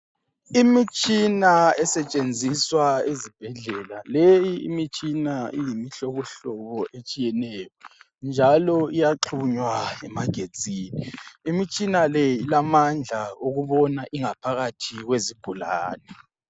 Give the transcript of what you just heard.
Imitsina esetshenziswa ezibhedlele. Leyi imitshina iyimihlobohlobo etshiyeneyo, njalo iyaxhunywa emagetsini. Imitshina le ilamandla okubona ingaphakathi yezigulane.